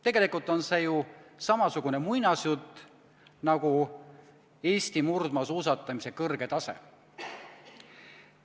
Tegelikult on see ju samasugune muinasjutt nagu Eesti murdmaasuusatamise kõrge tase.